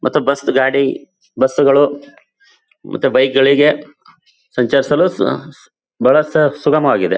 ಮತ್ತು ಬಸ್ಸ ಗಾಡಿ ಬಸ್ಸು ಗಳು ಮತ್ತೆ ಬೈಕ್ ಗಳಿಗೆ ಸಂಚರಿಸಲು ಸು ಬಹಳ ಸುಗಮವಾಗಿದೆ.